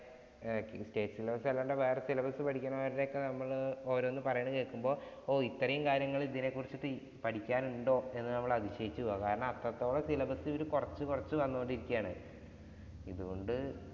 state syllabus അല്ലാണ്ട് വേറെ syllabus പഠിക്കുന്നവരുടെ ഒക്കെ നമ്മള് ഓരോന്ന് പറയുന്നത് കേൾക്കുമ്പോൾ ഓ, ഇത്രയും കാര്യങ്ങള്‍ ഇതിനെ കുറിച്ചിട്ടു പഠിക്കാന്‍ ഉണ്ടോ എന്ന് നമ്മള്‍ അതിശയിച്ചു പോവും. കാരണം അത്രത്തോളം syllabus കൊറച്ച് കൊറച്ച് തന്നോണ്ട്‌ ഇരിക്കുകയാണ്. അതുകൊണ്ട്